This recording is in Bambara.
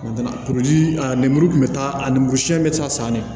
a lemuru kun bɛ taa a lemurusiyɛn bɛ taa san ne